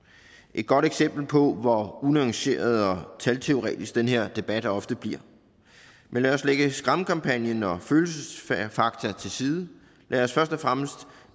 et godt eksempel på hvor unuanceret og talteoretisk den her debat ofte bliver men lad os lægge skræmmekampagnen og følelsesfakta til side lad os først og fremmest